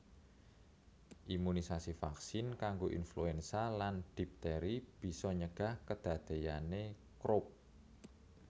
Imunisasi vaksin kanggo influenza lan dipteri bisa nyegah kedadeyane Croup